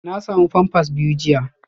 Na samu pampers biyu jiya